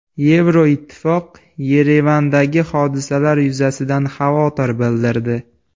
Yevroittifoq Yerevandagi hodisalar yuzasidan xavotir bildirdi.